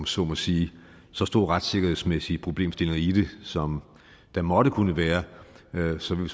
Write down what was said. så må sige så store retssikkerhedsmæssige problemstillinger i det som der måtte kunne være vil vi sådan